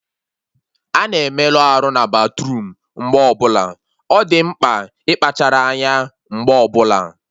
Ana emelụ arụ na batruum mgbe ọbụla, ọ dị mkpa ịkpachara anya mgbe ọbụla